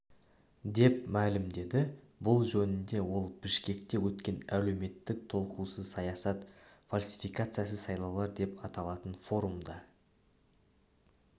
деп мәлімдеді бұл жөнінде ол бішкекте өткен әлеуметтік толқусыз саясат фальсификациясыз сайлаулар деп аталатын форумда